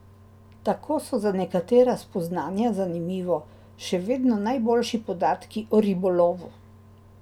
Tako so za nekatera spoznanja, zanimivo, še vedno najboljši podatki o ribolovu.